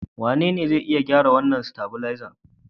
Wanene zai iya gyara wannan stavilizer?